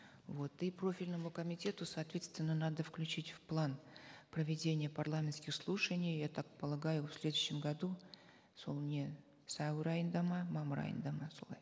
вот и профильному комитету соответственно надо включить в план проведение парламентских слушаний я так полагаю в следующем году сол не сәуір айында ма мамыр айында ма солай